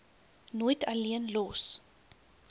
nooit alleen los